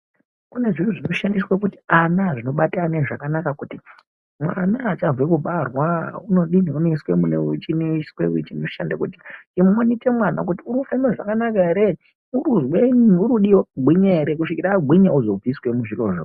Kune zviro zvinoshandiswe kuti ana, zvinobate ana zvakanaka kuti mwana achabve kubarwa unodini unoiswe mune chinoswe chinoshande kumonite mwana kuti urikufema zvakanaka ere urikuzwenyi , kusvika agwinya ozo budiswe mo.